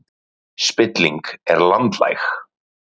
Spilling er landlæg